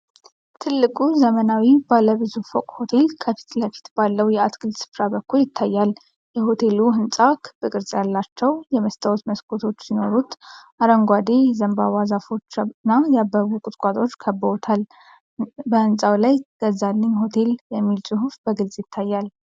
ትልቁ ዘመናዊ ባለ ብዙ ፎቅ ሆቴል ከፊት ለፊት ባለው የአትክልት ስፍራ በኩል ይታያል። የሆቴሉ ሕንጻ ክብ ቅርጽ ያላቸው የመስታወት መስኮቶች ሲኖሩት፣ አረንጓዴ የዘንባባ ዛፎችና ያበቡ ቁጥቋጦዎች ከበውታል። በህንፃው ላይ "ገዛልኝ ሆቴል" የሚል ጽሑፍ በግልጽ ይታያል።